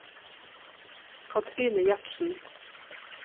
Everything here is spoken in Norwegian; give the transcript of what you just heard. Katrine Gjertsen